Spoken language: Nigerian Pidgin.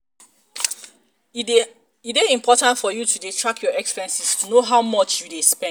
e dey important for you to dey track your expenses to to know how much you dey spend